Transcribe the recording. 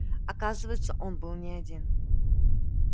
оказывается он был не один